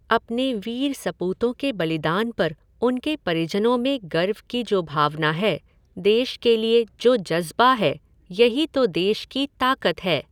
अपने वीर सपूतों के बलिदान पर उनके परिजनों में गर्व की जो भावना है, देश के लिए जो जज़्बा है, यही तो देश की ताकत है।